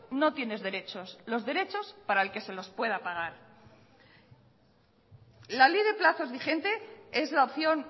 no tienes derechos los derechos para el que se los pueda pagar la ley de plazos vigente es la opción